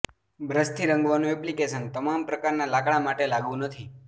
બ્રશથી રંગવાનું એપ્લિકેશન તમામ પ્રકારના લાકડા માટે લાગુ નથી